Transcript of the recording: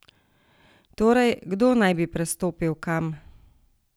Torej, kdo naj bi prestopil kam?